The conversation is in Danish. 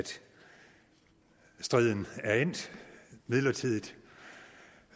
striden midlertidigt